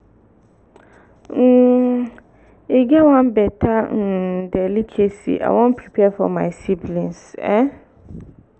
um e get one beta um delicacy i wan prepare for my siblings um